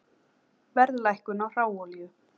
Verðlækkun á hráolíu